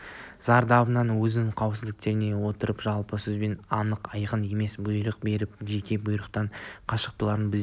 зардабынан өзін қауіпсіздендіре отырып жалпы сөзбенен анық айқын емес бұйрық беріп жеке бұйрықтан қашқалақтайтынын біздер